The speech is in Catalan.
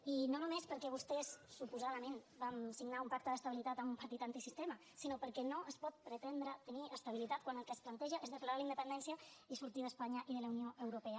i no només perquè vostès suposadament van signar un pacte d’estabilitat amb un partit antisistema sinó perquè no es pot pretendre tenir estabilitat quan el que es planteja és declarar la independència i sortir d’espanya i de la unió europea